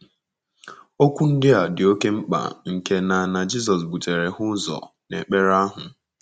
Okwu ndị a dị oké mkpa nke na na Jizọs butere ha ụzọ n’ekpere ahụ.